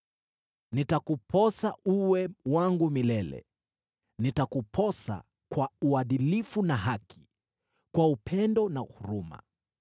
Nitakuposa uwe wangu milele; nitakuposa kwa uadilifu na haki, kwa upendo na huruma.